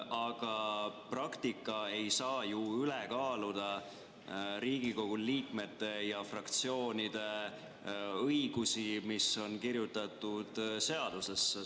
Aga praktika ei saa ju üles kaaluda Riigikogu liikmete ja fraktsioonide õigusi, mis on kirjutatud seadusesse.